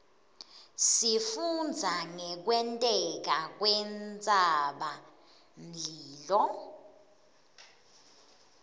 sifundza ngekwenteka kwentsabamlilo